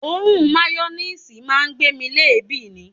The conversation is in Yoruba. Òórùn mayoníìsì máa ń gbé mi léèébì ni